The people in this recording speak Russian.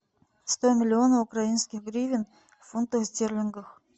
сто миллионов украинских гривен в фунтах стерлингах